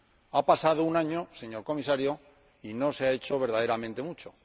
Ha pasado un año, señor Comisario, y no se ha hecho verdaderamente mucho.